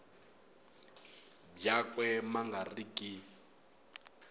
byakwe ma nga ri ki